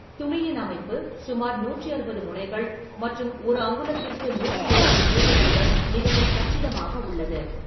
துணியின் அமைப்பு சுமார் நூற்றி அறுபது முனைகள் மற்றும் ஒரு அங்குலத்திற்கு நூற்றி எழுபது தேர்வுகளுடன் மிகவும் கச்சிதமாக உள்ளது.